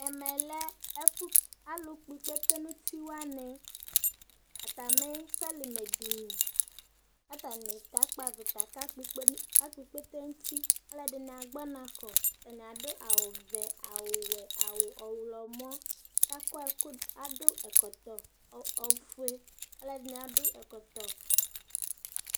ɛmɛ lɛ ɛfu alo kpɔ ikpete n'uti wani atami sɔlimɛ dini k'atani kakpɔ avita kakpɔ ikpete n'uti aloɛdini agbɔ ɔna kɔ atani ado awu vɛ awu wɛ awu ɔwlɔmɔ k'akɔ ɛkò ado ɛkɔtɔ ofue aloɛdini ado ɛkɔtɔ